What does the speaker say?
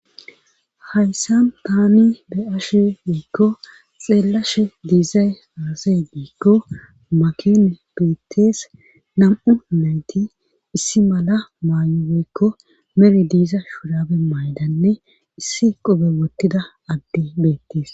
hayssan tani be7ashe woykko xeellashe diizay aaze giikko makine bettees nam7u nayti issi mala maayo woykko mere diiza shurabe mayidanne issi qobe wottida adde beettees.